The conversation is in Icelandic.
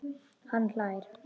Hann hlær.